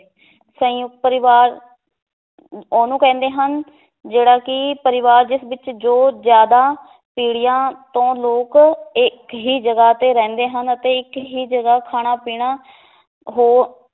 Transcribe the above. ਸੰਯੁਕਤ ਪਰਿਵਾਰ ਉਹਨੂੰ ਕਹਿੰਦੇ ਹਨ ਜਿਹੜਾ ਕਿ ਪਰਿਵਾਰ ਜਿਸ ਵਿੱਚ ਜੋ ਜ਼ਿਆਦਾ ਪੀੜੀਆਂ ਤੋਂ ਲੋਕ ਇੱਕ ਹੀ ਜਗ੍ਹਾ ਤੇ ਰਹਿੰਦੇ ਹਨ ਅਤੇ ਇੱਕ ਹੀ ਜਗ੍ਹਾ ਖਾਣਾ ਪੀਣਾ ਹੋ